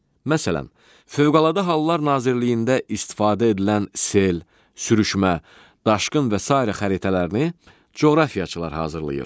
Məsələn, Fövqəladə Hallar Nazirliyində istifadə edilən sel, sürüşmə, daşqın və sairə xəritələrini coğrafiyaçılar hazırlayır.